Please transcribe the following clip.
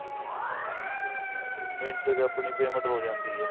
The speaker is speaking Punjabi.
ਮਿੰਟ ਚ ਆਪਣੀ payment ਹੋ ਜਾਂਦੀ ਐ